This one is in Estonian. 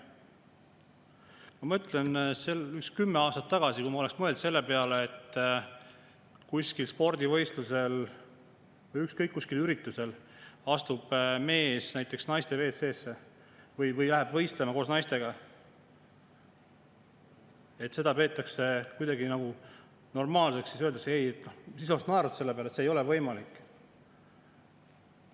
Ma mõtlen, et kui ma kümme aastat tagasi oleks mõelnud selle peale, et kuskil spordivõistlusel või ükskõik mis üritusel astub mees näiteks naiste WC‑sse või läheb võistlema koos naistega ja seda peetakse kuidagi normaalseks, siis oleksin ma selle peale naernud, et see ei ole võimalik.